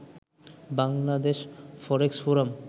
Bangladesh forex forum